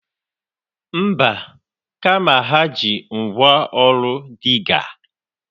Mba, kama ha ji ngwaọrụ Dịgga